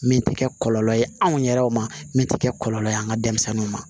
Min tɛ kɛ kɔlɔlɔ ye anw yɛrɛw ma min tɛ kɛ kɔlɔlɔ ye an ka denmisɛnninw ma